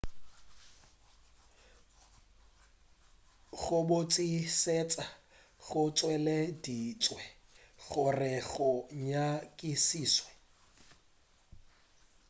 go botšišetša go tšweleditšwe gore go nyakišišwe